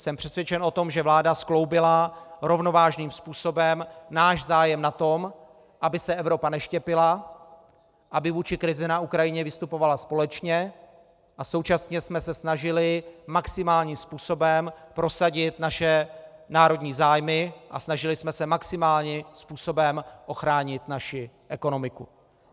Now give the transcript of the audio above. Jsem přesvědčen o tom, že vláda skloubila rovnovážným způsobem náš zájem na tom, aby se Evropa neštěpila, aby vůči krizi na Ukrajině vystupovala společně, a současně jsme se snažili maximálním způsobem prosadit naše národní zájmy a snažili jsme se maximálním způsobem ochránit naši ekonomiku.